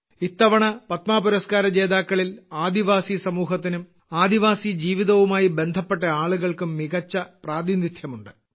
ഇത്തവണ പത്മാപുരസ്കാരജേതാക്കളിൽ ആദിവാസിസമൂഹത്തിനും ആദിവാസിജീവിതവുമായി ബന്ധപ്പെട്ട ആളുകൾക്കും മികച്ച പ്രാതിനിധ്യമുണ്ട്